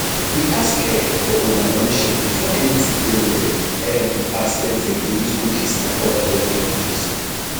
we ask um for una permission before anytin dey loaded um as dem fit dey use cookies and oda technologies